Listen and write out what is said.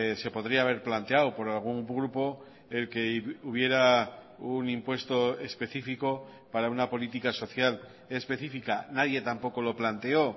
se podría haber planteado por algún grupo el que hubiera un impuesto específico para una política social específica nadie tampoco lo planteó